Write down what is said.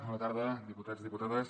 bona tarda diputats i diputades